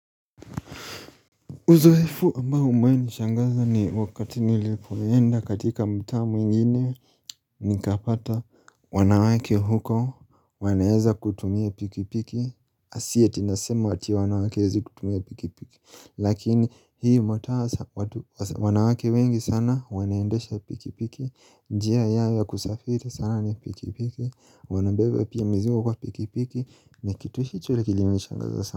Uzoefu ambao uwewahi nishangaza ni wakati nilipoenda katika mtaa mwingine nikapata wanawake huko wanaweza kutumia pikipiki, si eti nasema ati wanawake hawawezi kutumia pikipiki, lakini hiyo mtaa wanawake wengi sana wanaendesha pikipiki, njia ya kusafiri sana ni pikipiki wanabeba pia mzigo kwa pikipiki, na kitu kilinishangaza sana.